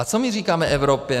A co my říkáme Evropě?